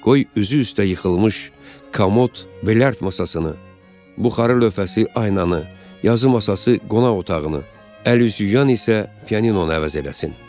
Qoy üzü üstə yıxılmış komod, bilard masasını, buxarı lövhəsi aynanı, yazı masası qonaq otağını, əl üz yuyan isə pianinonu əvəz eləsin.